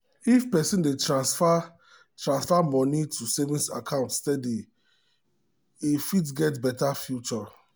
if person dey transfer transfer moni to saving account steady e fit get better future.